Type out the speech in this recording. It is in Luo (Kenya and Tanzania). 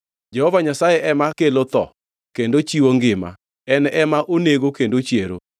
“Jehova Nyasaye ema kelo tho, kendo chiwo ngima; en ema onego kendo ochiero.